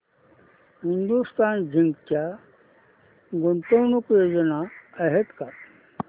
Hindustan zinc च्या गुंतवणूक योजना आहेत का